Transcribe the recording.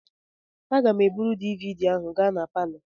Aga m eburu DVD ahụ gaa na palọ.